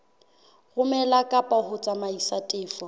romela kapa ho tsamaisa tefo